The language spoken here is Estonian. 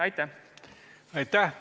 Aitäh!